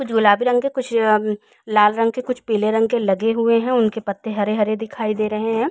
कुछ गुलाबी रंग के कुछ अम्म लाल रंग के कुछ पीले रंग के लगे हुए हैं। उनके पत्ते हरे हरे दिखाई दे रहे हैं।